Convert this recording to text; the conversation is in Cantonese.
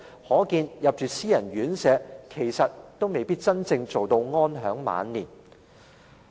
可見，入住私人院舍其實也未必可以真正做到安享晚年。